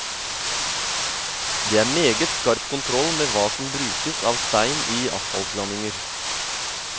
Det er meget skarp kontroll med hva som brukes av stein i asfaltblandinger.